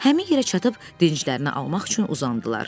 Həmin yerə çatıb dincəlmək üçün uzandılar.